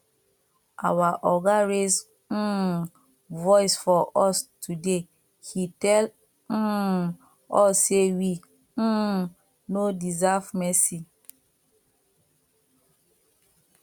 our oga raise um voice for us today he tell um us say we um no deserve mercy